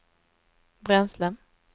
bränsle